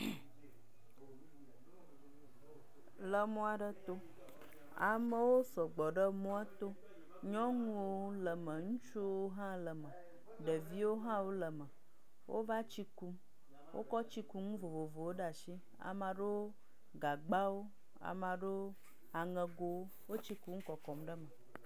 Le mɔ aɖe to. Amewo sɔgbɔ ɖe mɔ to. Nyɔnuwo le eme. Ŋutsuwo hã le eme, ɖeviwo hã wo le eme. Wova tsi kum, wokɔ tsikunu vovovowo ɖe asi. Ame aɖewo gagba, ame aɖewo aŋegowo. Wo tsi kum kɔkɔm ɖe eme.